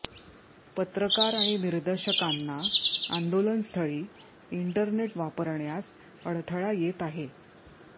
पत्रकार आणि निदर्शकांना आंदोलनस्थळी इंटरनेट वापरण्यास अडथळा येत आहे